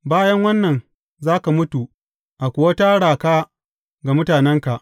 Bayan wannan za ka mutu, a kuwa tara ka ga mutanenka.